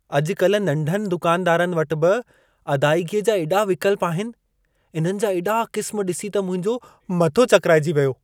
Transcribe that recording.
अॼु-कल नंढनि दुकानदारनि वटि बि अदाइगीअ जा एॾा विकल्प आहिनि। इन्हनि जा एॾा क़िस्म ॾिसी त मुंहिंजो मथो चकिराइजी वियो।